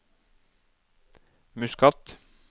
Muscat